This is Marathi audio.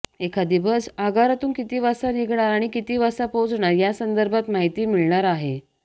एखादी बस आगारातून किती वाजता निघणार आणि किती वाजता पोहोचणार यासंदर्भात माहिती मिळणार आहे